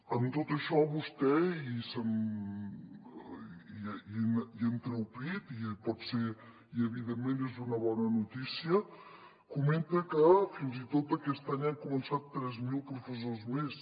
amb tot això vostè i en treu pit i pot ser i evidentment és una bona notícia comenta que fins i tot aquest any han començat tres mil professors més